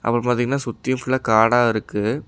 அப்புறம் பாத்தீங்கன்னா சுத்தியு ஃபுல்லா காடா இருக்கு.